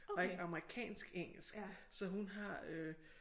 Og ikke amerikansk engelsk så hun har øh